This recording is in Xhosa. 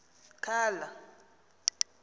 khala